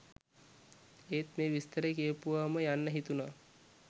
එත් මේ විස්තරේ කියවපුවාම යන්න හිතුනා.